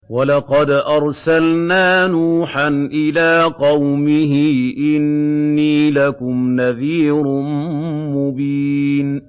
وَلَقَدْ أَرْسَلْنَا نُوحًا إِلَىٰ قَوْمِهِ إِنِّي لَكُمْ نَذِيرٌ مُّبِينٌ